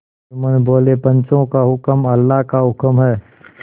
जुम्मन बोलेपंचों का हुक्म अल्लाह का हुक्म है